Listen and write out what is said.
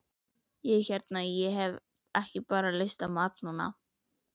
Ég hérna. ég hef bara ekki lyst á mat núna.